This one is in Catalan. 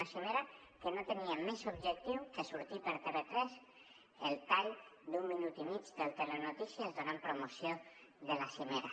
una cimera que no tenia més objectiu que sortir per tv3 el tall d’un minut i mig del telenotícies per donar promoció a la cimera